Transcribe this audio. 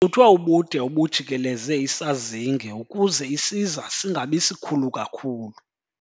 Kucuthwe ubude obujikeleze isazinge ukuze isiza singabi sikhulu kakhulu.